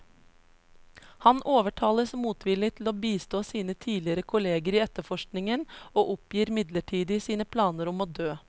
Han overtales motvillig til å bistå sine tidligere kolleger i etterforskningen, og oppgir midlertidig sine planer om å dø.